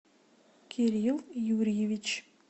кирилл юрьевич